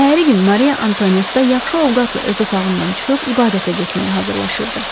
Səhəri gün Mariya Antuanetta yaxşı ovqatla öz otağından çıxıb ibadətə getməyə hazırlaşırdı.